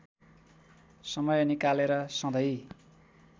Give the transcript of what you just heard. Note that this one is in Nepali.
समय निकालेर सधैँ